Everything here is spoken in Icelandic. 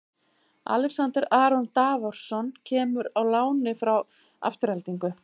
Alexander Aron Davorsson kemur á láni frá Aftureldingu.